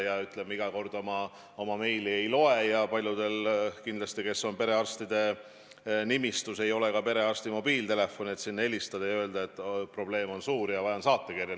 Nad ju pidevalt oma meile ei loe ja paljudel, kes on perearstide nimistus, ei ole ka perearsti mobiiltelefoni, et talle helistada ja öelda, et probleem on suur ja vajan saatekirja.